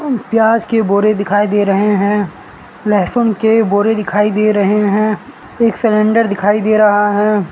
प्याज के बोरे दिखाई दे रहे हैं लहसुन के बोरे दिखाई दे रहे हैं एक सिलेंडर दिखाई दे रहा है।